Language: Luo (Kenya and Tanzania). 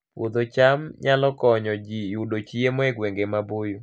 Puodho cham nyalo konyo ji yudo chiemo e gwenge maboyo